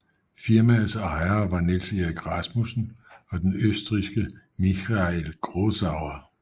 Firmaets ejere var Niels Erik Rasmussen og den østrigske Michael Grossauer